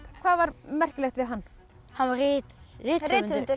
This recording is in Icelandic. hvað var merkilegt við hann hann var rithöfundur